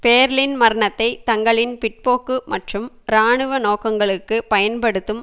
பேர்ளின் மரணத்தை தங்களின் பிற்போக்கு மற்றும் இராணுவ நோக்கங்களுக்கு பயன்படுத்தும்